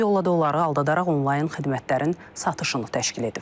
Bu yolla da onları aldadaraq onlayn xidmətlərin satışını təşkil edib.